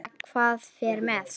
Eða hver fer með.